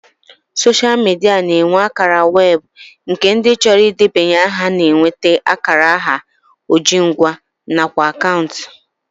Soshal midia na-enwe akara weebụ nke ndị chọrọ idebanye aha na-enweta akara aha ojingwa nakwa akaụntụ